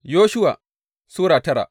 Yoshuwa Sura tara